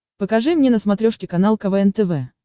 покажи мне на смотрешке канал квн тв